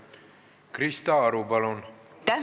Krista Aru, palun!